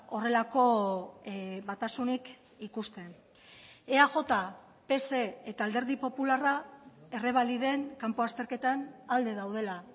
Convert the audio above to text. horrelako batasunik ikusten eaj pse eta alderdi popularra errebaliden kanpo azterketan alde daudela